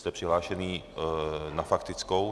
Jste přihlášený na faktickou.